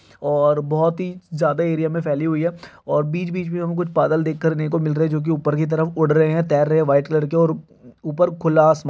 और बोत ही जादा एरिया (Area) मे फेली हुई है और बीच बीच मे हमे कुछ बादल देख कर ने को मिल रहे है जो की ऊपर की तरफ उद रहे है तैर रहे है व्हाइट ( कलर ( के और ऊपर खुला आसमा--